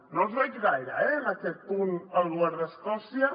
no el veig gaire eh en aquest punt el govern d’escòcia